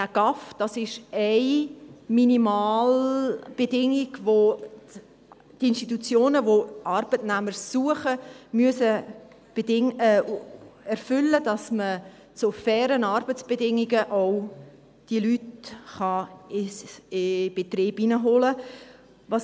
Der Gesamtarbeitsvertrag (GAV) ist eine Minimalbedingung, welche die Institutionen, die Arbeitnehmer suchen, erfüllen müssen, damit man diese Leute auch zu fairen Arbeitsbedingungen in einen Betrieb hineinholen kann.